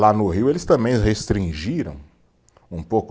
Lá no Rio eles também restringiram um pouco.